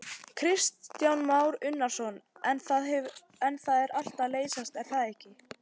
Kristján Már Unnarsson: En það er allt að leysast er það ekki?